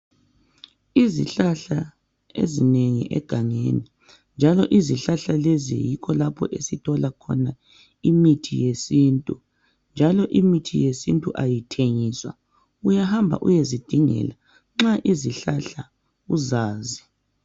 Izihlahla ezinengi egangeni njalo izihlahla lezi yikho lapho esithola khona imithi yesintu njalo imithi yesintu ayithengiswa uyahamba uyezidingela nxa izihlahla uzazi